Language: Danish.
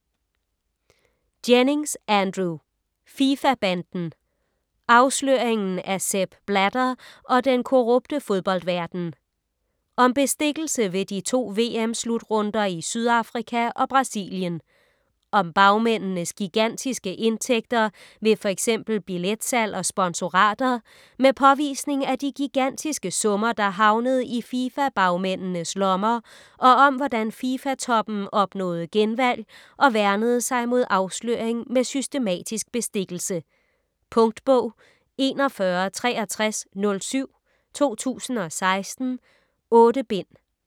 Jennings, Andrew: FIFA-banden: afsløringen af Sepp Blatter og den korrupte fodboldverden Om bestikkelse ved de to VM-slutrunder i Sydafrika og Brasilien. Om bagmændenes gigantiske indtægter ved f.eks. billetsalg og sponsorater, med påvisning af de gigantiske summer, der havnede i FIFA bagmændenes lommer, og om hvordan FIFA toppen opnåede genvalg og værnede sig mod afsløring med systematisk bestikkelse. Punktbog 416307 2016. 8 bind.